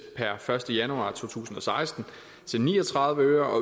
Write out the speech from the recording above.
per første januar to tusind og seksten til ni og tredive øre og